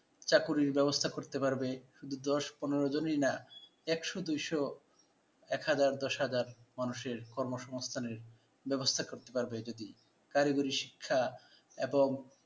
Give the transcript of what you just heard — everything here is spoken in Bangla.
চাকরির ব্যবস্থা করতে পারবে। শুধু দশ পনের জনই না একশ, দুইশ, একহাজার, দশহাজার মানুষের কর্মসংস্থানের ব্যবস্থা করতে পারবে। যদি কারিগরি শিক্ষা এবং